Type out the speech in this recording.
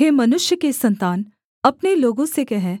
हे मनुष्य के सन्तान अपने लोगों से कह